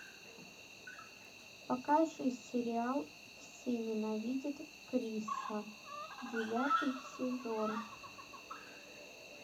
покажи сериал все ненавидят криса девятый сезон